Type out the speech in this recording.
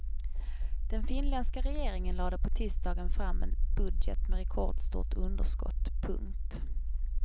Den finländska regeringen lade på tisdagen fram en budget med rekordstort underskott. punkt